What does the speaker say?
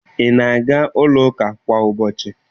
Ị na-aga n'ụlọụka kwa ụbọchi?